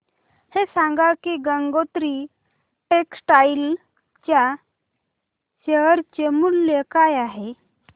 हे सांगा की गंगोत्री टेक्स्टाइल च्या शेअर चे मूल्य काय आहे